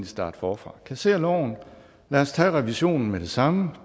starte forfra kassér loven lad os tage revisionen med det samme og